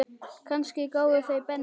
Kannski gáfu þau Benny